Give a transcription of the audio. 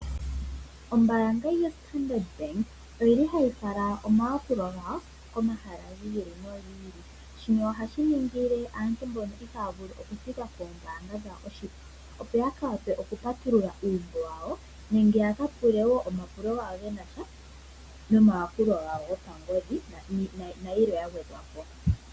Ombaanga yoStandard bank oyili hayi fala omayakulo gawo komahala gi ili no gi ili. Shino ohashi ningile aantu mbono ihaya vulu okuthika poombanga dhawo opo yaka vulu oku patulula uumbo wawo nenge ya kapule woo omapulo gawo genasha nomayakulo gawo gopangodhi nayilwe ya gwedha po.